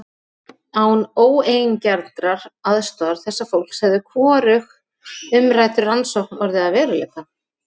Án óeigingjarnrar aðstoðar þessa fólks hefði hvorug umrædd rannsókn orðið að veruleika.